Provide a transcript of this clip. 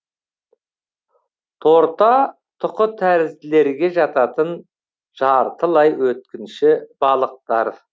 торта тұқытәрізділерге жататын жартылай өткінші балықтар